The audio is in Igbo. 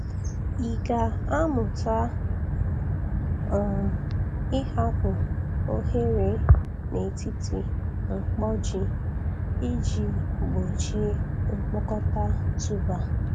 Ị ga-amụta um ịhapụ oghere n’etiti mkpọ ji iji gbochie mkpokọta tuber.